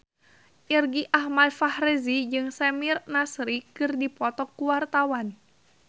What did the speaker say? Irgi Ahmad Fahrezi jeung Samir Nasri keur dipoto ku wartawan